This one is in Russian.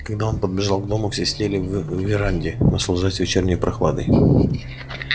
когда он подбежал к дому все сидели в веранде наслаждаясь вечерней прохладой